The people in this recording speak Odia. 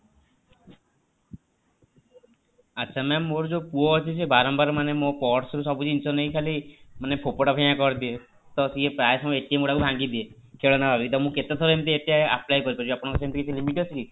ଆଚ୍ଛା mam ମୋର ଯୋଉ ପୁଅ ଅଛି ସେ ବାରମ୍ବାର ମାନେ ମୋ purse ରୁ ସବୁ ଜିନିଷ ନେଇକି ଖାଲି ମାନେ ଫୋପଡ଼ା ଫିଙ୍ଗା କରିଦିଏ ତ ସିଏ ପ୍ରାୟ ମୋର ଗୁଡାକ ଭାଙ୍ଗିଦିଏ ଖେଳନା ଭାବିକି ତ ମୁଁ କେତେ ଥର ଏମିତି apply କରିପାରିବେ ଆପଣଙ୍କର ସେମିତି କିଛି limit ଅଛି କି?